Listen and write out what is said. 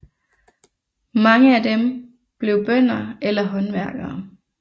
Mange af dem blev bønder eller håndværkere